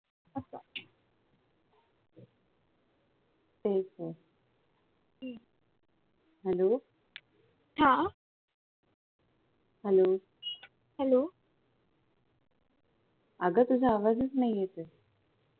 तेच तर hello hello अगं तुझा आवाजच नाही येतये